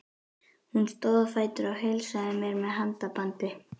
Hún stóð á fætur og heilsaði mér með handabandi.